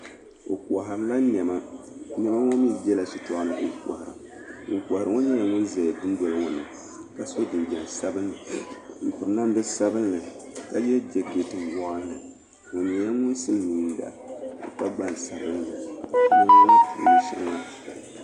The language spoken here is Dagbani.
Bɛ kɔhiri la nɛma nɛma ŋɔ mi bela shitɔɣu ni ŋun kɔhiri ŋɔ n nyela ŋun za dundoli ŋɔ ni ka so jinjam sabinli m piri namda sabinli ka ye jakeeti woɣinli o nyela ŋun silimiinga ka gban sabinli.